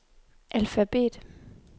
alfabet